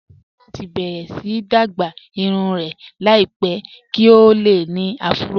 Kọlá fẹ́ láti bẹ̀rẹ̀ sí dágbà irùn rẹ̀ láìpẹ̀ kí o lè ní àfúró